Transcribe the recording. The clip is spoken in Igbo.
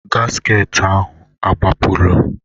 gasket ahụ agbapụla?